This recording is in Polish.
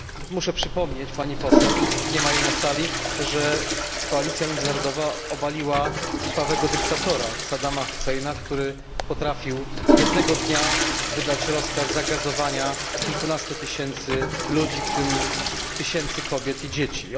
Muszę przypomnieć pani poseł niestety nie ma jej na sali że koalicja międzynarodowa obaliła krwawego dyktatora, Saddama Husseina, który potrafił jednego dnia wydać rozkaz zagazowania kilkunastu tysięcy ludzi, w tym tysięcy kobiet i dzieci.